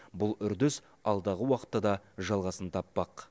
бұл үрдіс алдағы уақытта да жалғасын таппақ